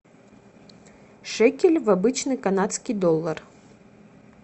шекель в обычный канадский доллар